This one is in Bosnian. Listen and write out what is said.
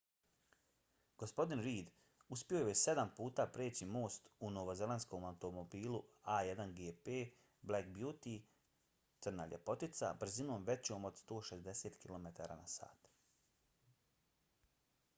gospodin reid uspio je sedam puta preći most u novozelandskom automobilu a1gp black beauty crna ljepoticabrzinom većom od 160 km/h